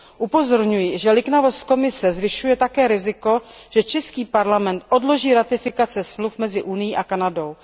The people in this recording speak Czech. Upozorňuji, že liknavost Komise zvyšuje také riziko, že český parlament odloží ratifikace smluv mezi Unií a Kanadou.